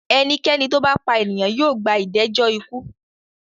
Ẹnikẹ́ni tó bá pa ènìyàn yóò gba Ìdẹ́jọ ikú.